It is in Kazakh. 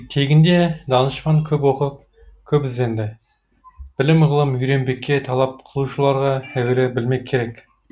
тегінде данышпан көп оқып көп ізденді білім ғылым үйренбекке талап қылушыларға әуелі білмек керек